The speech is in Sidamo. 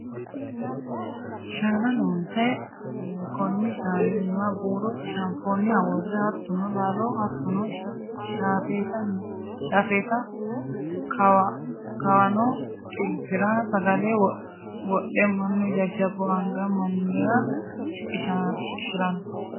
Shaana loonse koni shaani iima buuro shafoniha worre hattono laalo hattono shaafetta kawano xiltira sagale wodhe mannu jajjabbu anga mannira shiqqishirano.